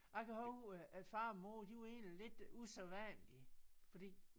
Jeg kan huske øh at far og mor de var egentlig lidt usædvanlige fordi